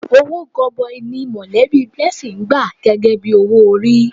Owó gọbọi ni mọ̀lẹ́bí Blessing gbà gẹ́gẹ́ bí owó orí.